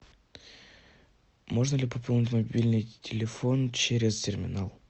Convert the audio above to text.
можно ли пополнить мобильный телефон через терминал